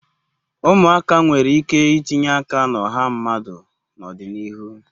Umuaka nwere ike itinye aka na oha mmadu na odinihu